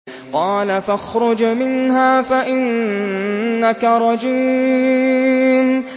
قَالَ فَاخْرُجْ مِنْهَا فَإِنَّكَ رَجِيمٌ